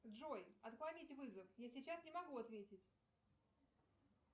джой отклонить вызов я сейчас не могу ответить